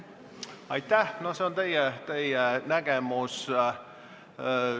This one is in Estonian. See on teie nägemus.